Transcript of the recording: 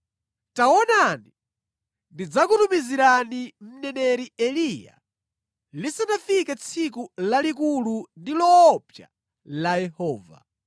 “Taonani, ndidzakutumizirani mneneri Eliya lisanafike tsiku lalikulu ndi loopsa la Yehova.